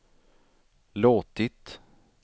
låtit